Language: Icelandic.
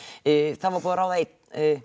það var búið að ráða einn